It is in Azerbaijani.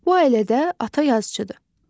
Bu ailədə ata yazıçıdır.